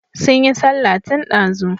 Sun yi sallah tun ɗazu.